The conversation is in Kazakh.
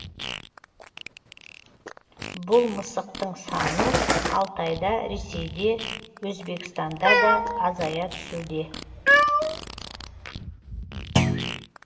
бұл мысықтың саны алтайда ресейде өзбекстанда да азая түсуде